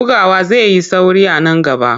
Bugawa zai yi sauri a nan gaba.